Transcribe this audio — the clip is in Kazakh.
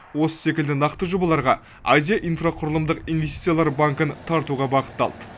осы секілді нақты жобаларға азия инфрақұрылымдық инвестициялар банкін тартуға бағытталды